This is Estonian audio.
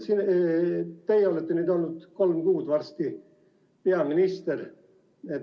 Teie olete olnud varsti kolm kuud peaminister.